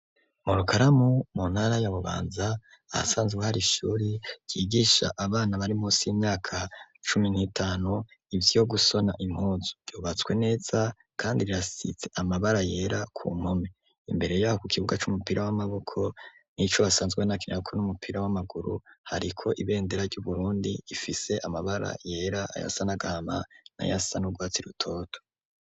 Murukaramu muntara yabubanza ahasanzwe hari ishuri ryigisha abana bari musi y'imyaka cumi n'itanu ivyo gusona impuzu vyobatswe neza, kandi rirasitse amabara yera ku mome imbere ya ku kibuga c'umupira w'amaboko n'ico basanzwe n'akiniraku n'umupira w'amaguru hariko ibendee arya uburundi ifise amabara yera aya asanagama na ya sa n'ugwatsi i rutoto.